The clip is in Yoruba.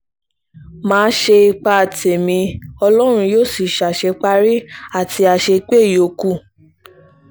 má a ṣe ipa tẹ̀mí ọlọ́run yóò sì ṣàṣeparí àti àṣepé ìyókù